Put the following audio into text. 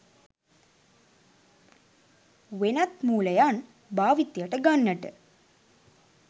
වෙනත් මූලයන් භාවිතයට ගන්නට